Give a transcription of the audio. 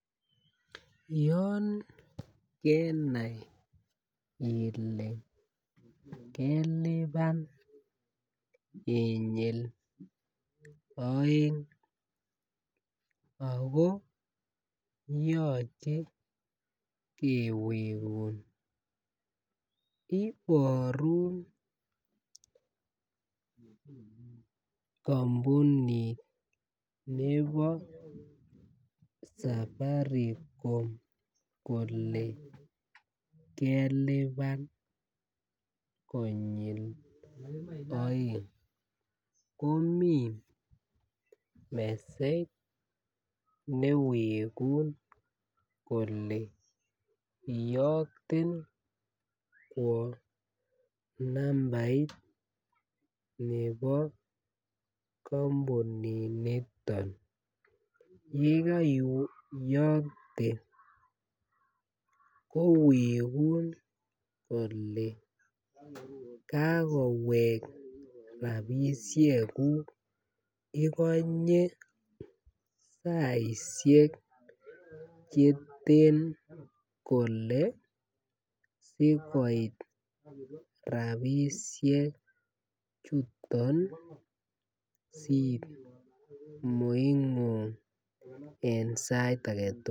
Yon kenai ile kelipan inyil aeng ako yoche kewegun Iborun kampunit nebo safaricom kole kelipan konyil aeng komi mesej newegun kole iyokte kwo nambait nebo kampuninito yekoiyokte kowegun kole ka kowek rabisiekuk igonye saisiek Che ten kole asi koit rabisiechuton simoingung en sait age tugul